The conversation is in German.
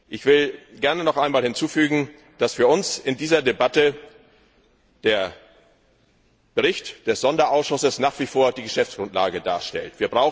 Ich will gerne noch einmal hinzufügen, dass für uns in dieser Debatte der Bericht des Sonderausschusses nach wie vor die Geschäftsgrundlage darstellt.